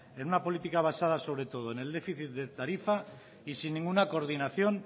en una política basada sobre todo en el déficit de tarifa y sin ninguna coordinación